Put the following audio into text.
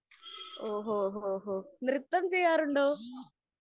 ഓഹോ, ഹോ, ന്നൃത്തം ചെയ്യാറുണ്ടോ?